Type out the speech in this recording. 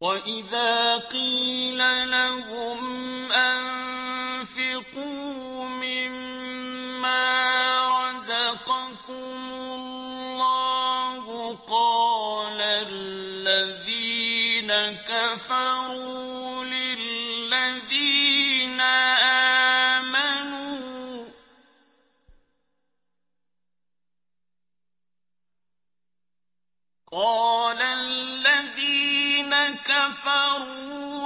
وَإِذَا قِيلَ لَهُمْ أَنفِقُوا مِمَّا رَزَقَكُمُ اللَّهُ قَالَ الَّذِينَ كَفَرُوا